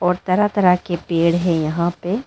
और तरह तरह के पेड़ है यहां पे।